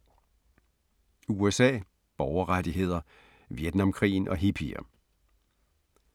USA – borgerrettigheder, Vietnamkrigen og hippier